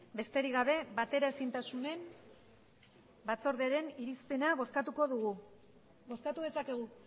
besterik gabe bateraezintasunen batzordearen irizpena bozkatuko dugu bozkatu dezakegu